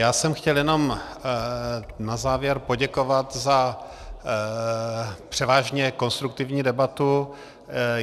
Já jsem chtěl jenom na závěr poděkovat za převážně konstruktivní debatu.